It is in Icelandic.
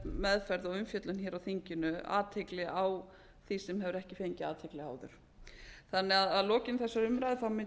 meðferð og umfjöllun á þinginu athygli á því sem hefur ekki fengið athygli áður að lokinni þessari umræðu legg